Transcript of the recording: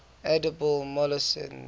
edible molluscs